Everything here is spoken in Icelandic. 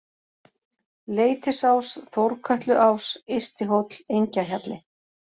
Leitisás, Þórkötluás, Yðsti-Hóll, Engjahjalli